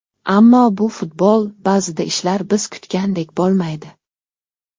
Ammo bu futbol, ba’zida ishlar biz kutgandek bo‘lmaydi.